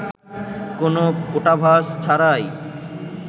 কোনো কূটাভাস ছাড়াই